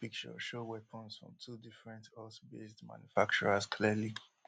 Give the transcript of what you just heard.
one police picture show weapons from two different us based manufacturers clearly